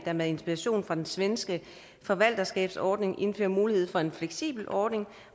der med inspiration fra den svenske förvaltarskabsordning indfører mulighed for en fleksibel ordning